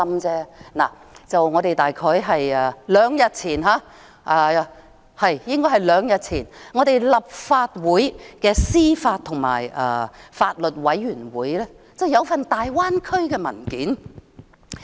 可是，就在大約兩天前，當局向立法會司法及法律事務委員會提交了一份大灣區文件。